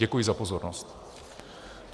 Děkuji za pozornost.